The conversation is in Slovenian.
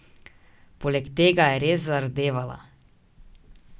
Poleg tega je res zardevala.